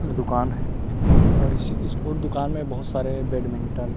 दूकान है इस स्पोर्ट दूकान मे बहोत सारे बैडमिंटन --